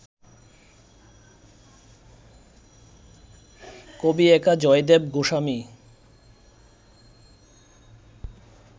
কবি একা জয়দেব গোস্বামী